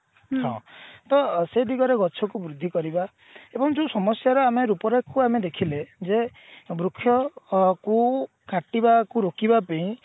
ତ ସେ ଦିଗରେ ଗଛ କୁ ବୃଦ୍ଧି କରିବା ଏବଂ ଯୋଉ ସମସ୍ୟାର ରୂପରେଖକୁ ଆମେ ଦେଖିଲେ ଯେ ବୃକ୍ଷ ଅ କୁ କାଟିବା କୁ ରୋକିବା ପେଇଁ